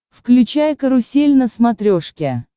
включай карусель на смотрешке